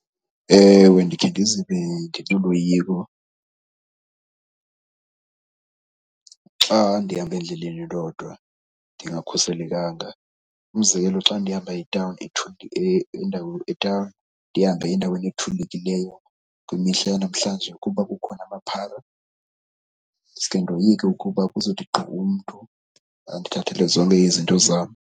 Ewe, ndikhe ndizive ndinoloyiko xa ndihamba endleleni ndodwa ndingakhuselekanga. Umzekelo, xa ndihamba etawuni ndihambe endaweni ethulekileyo, kwimihla yanamhlanje kuba kukhona amaphara ndisuke ndoyike ukuba kuzothi gqi umntu andithathele zonke izinto zam.